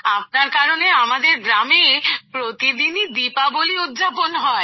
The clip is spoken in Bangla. আপনার কারণে আমাদের গ্রামে প্রতিদিনই দীপাবলি উদযাপন হয়